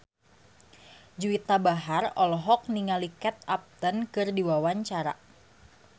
Juwita Bahar olohok ningali Kate Upton keur diwawancara